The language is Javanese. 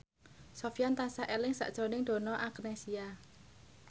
Sofyan tansah eling sakjroning Donna Agnesia